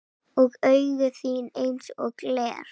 Og augu þín einsog gler.